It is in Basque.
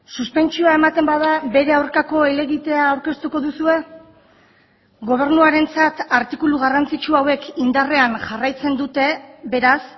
suspentsioa ematen bada bere aurkako helegitea aurkeztuko duzue gobernuarentzat artikulu garrantzitsu hauek indarrean jarraitzen dute beraz